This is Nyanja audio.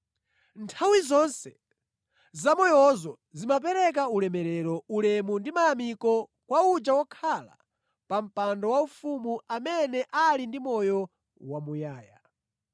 Nthawi zonse zamoyozo zimapereka ulemerero, ulemu ndi mayamiko kwa uja wokhala pa mpando waufumu, amene ali ndi moyo wamuyaya.